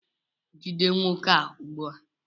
jide nwoke a ugbua!